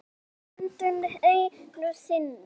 Snúðu öndinni einu sinni.